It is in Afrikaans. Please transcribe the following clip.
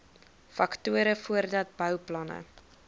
faktore voordat bouplanne